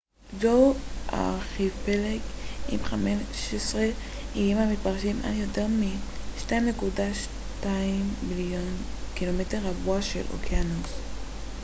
זהו ארכיפלג עם 15 איים המתפרשים על יותר מ-2.2 מיליון ק מ רבוע של אוקיינוס